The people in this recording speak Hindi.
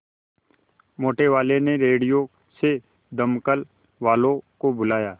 मोटेवाले ने रेडियो से दमकल वालों को बुलाया